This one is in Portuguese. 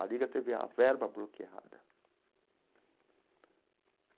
A Liga teve a verba bloqueada.